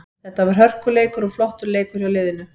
Þetta var hörkuleikur og flottur leikur hjá liðinu.